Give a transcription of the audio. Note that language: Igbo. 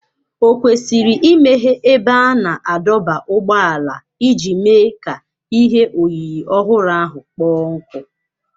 Ò kwesịrị imeghe ebe a na-adọba ụgbọala iji mee ka ihe oyiyi ọhụrụ ahụ kpoo ọkụ?